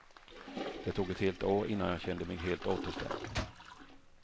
Det tog ett helt år innan jag kände mig helt återställd.